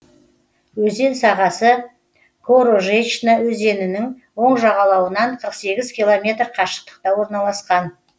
өзен сағасы корожечна өзенінің оң жағалауынан қырық сегіз километр қашықтықта орналасқан